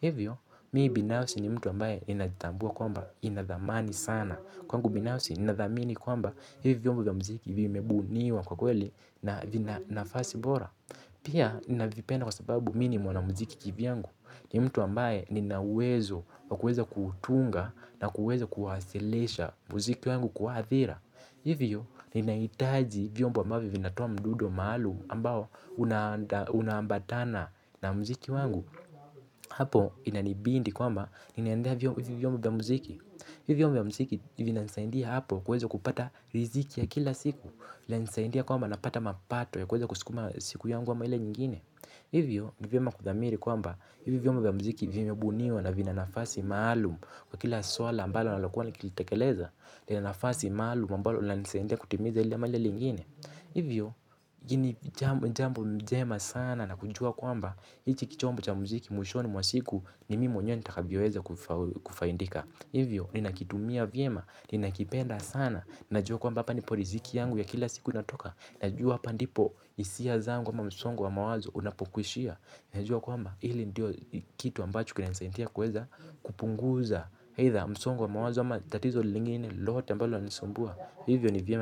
Hivyo mimi binafsi ni mtu ambaye ninaitambua kwamba inadhamani sana. Kwangu binafsi ninadhamini kwamba hivi vyombo vya muziki vimebuniwa kwa kweli na vina nafasi bora. Pia navipenda kwa sababu mimi ni mwanamuziki kivyangu ni mtu ambaye nina uwezo wa kuweza kuutunga na kuweza kuwasilisha muziki wangu kwa adhira. Hivyo, ninaitaji vyombo ambavyo vinatoa mdundo maalum ambao unaambatana na muziki wangu. Hapo inanibidi kwamba ninaendea hivi vyombo vya muziki. Hivi vyombo vya muziki vinanisadia hapo kuweza kupata riziki ya kila siku. Linasaidia kwamba napata mapato ya kuweza kusukuma siku yangu ama ile nyingine. Hivyo ni vyema kudhamiri kwamba hivi vyombo vya muziki vimebuniwa na vina nafasi maalum. Kwa kila swala ambalo ninalokuwa nikilitekeleza nina nafasi maalum ambalo linanisaidia kutimiza ili ama lile lingine. Hivyo jambo njema sana na kujua kwamba hichi kichombo cha muziki mwishoni mwa siku ni mimi mwenyewe nitakavyoweza kufaidika. Hivyo ninakitumia vyema ninakipenda sana. Ninajua kwamba hapa ndipo riziki yangu ya kila siku inatoka. Najua hapa ndipo hisia zangu ama msongo wa mawazo unapokwishia. Najua kwamba hili ndilo kitu ambacho kina nisaidia kuweza kupunguza msongo wa mawazo ama tatizo lingine lolote ambalo linanisumbua. Hivyo ni vyema.